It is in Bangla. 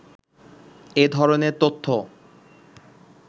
এ ধরনের তথ্য